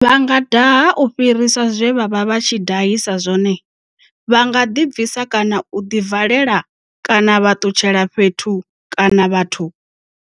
Vha nga daha u fhirisa zwe vha vha vha tshi dahisa zwone, vha nga ḓibvisa kana u ḓivalela kana vha ṱutshela fhethu kana vhathu.